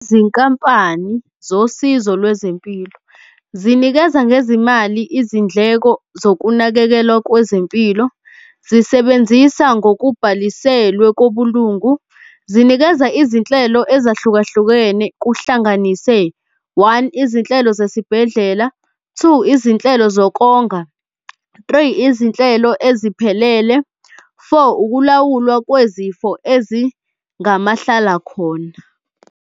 Izinkampani zosizo lwezempilo zinikeza ngezimali izindleko zokunakekelwa kwezempilo. Zisebenzisa ngokubhaliselwe kobulungu. Zinikeza izinhlelo ezahlukehlukene kuhlanganise one, izinhlelo zesibhedlela, two, izinhlelo zokukonga, three, izinhlelo eziphelele, four, ukulawulwa kwezifo ezingamahlala khona.